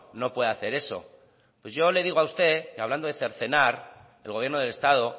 no puede hacer eso pues yo le digo a usted que hablando de cercenar el gobierno del estado